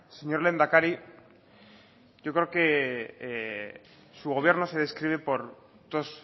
señor lehendakari yo creo que su gobierno se describe por dos